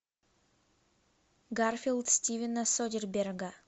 гарфилд стивена содерберга